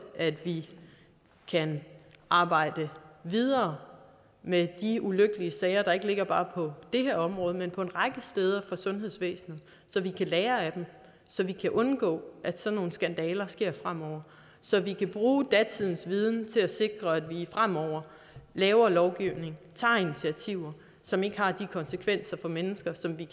at vi kan arbejde videre med de ulykkelige sager der ligger ikke bare på det her område men en række steder i sundhedsvæsenet så vi kan lære af dem så vi kan undgå at sådan nogle skandaler sker fremover så vi kan bruge datiden til at sikre at vi fremover laver lovgivning tager initiativer som ikke har de konsekvenser for mennesker som de